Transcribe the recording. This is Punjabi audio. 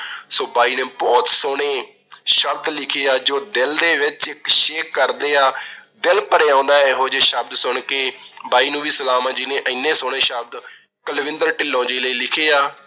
so ਬਾਈ ਨੇ ਬਹੁਤ ਸੋਹਣੇ ਸ਼ਬਦ ਲਿਖੇ ਆ ਜੋ ਦਿਲ ਦੇ ਵਿੱਚ ਇੱਕ shake ਕਰਦੇ ਆਂ। ਦਿਲ ਭਰ ਆਉਂਦਾ ਐ, ਇਹੋ ਜੇ ਸ਼ਬਦ ਸੁਣ ਕੇ। ਬਾਈ ਨੂੰ ਵੀ ਸਲਾਮ ਏ, ਜਿਹਨੇ ਇੰਨੇ ਸੋਹਣੇ ਸ਼ਬਦ ਕੁਲਵਿੰਦਰ ਢਿੱਲੋਂ ਜੀ ਲਈ ਲਿਖੇ ਆ।